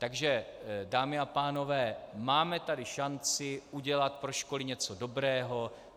Takže dámy a pánové, máme tady šanci udělat pro školy něco dobrého.